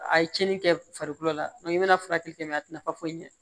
A ye tiɲɛni kɛ farikolo la i bɛna furakɛ kɛ mɛ a tɛ nafa foyi ɲɛ